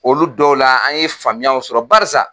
Olu dɔw la , an ye faamuyaw sɔrɔ .Barisa